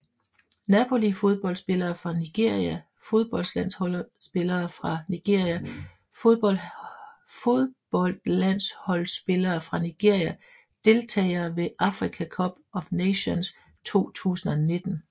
Napoli Fodboldspillere fra Nigeria Fodboldlandsholdsspillere fra Nigeria Fodboldlandsholdsspillere fra Nigeria Deltagere ved Africa Cup of Nations 2019